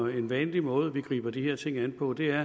jo den vanlige måde vi griber de her ting an på det er